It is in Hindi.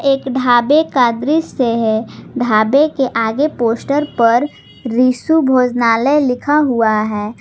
एक ढाबे का दृश्य है ढाबे के आगे पोस्टर पर रिशु भोजनालय लिखा हुआ है।